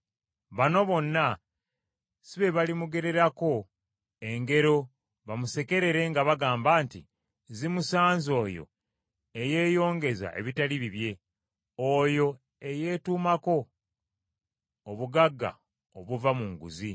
“Bano bonna si be balimugererako engero bamusekerere nga bagamba nti, “ ‘Zimusanze oyo eyeyongeza ebitali bibye! Oyo eyeetuumako obugagga obuva mu nguzi!’